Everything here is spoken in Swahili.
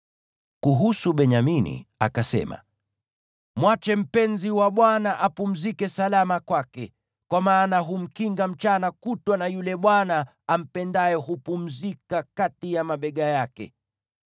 Kuhusu Benyamini akasema: “Mwache mpenzi wa Bwana apumzike salama kwake, kwa maana humkinga mchana kutwa, na yule Bwana ampendaye hupumzika kati ya mabega yake.”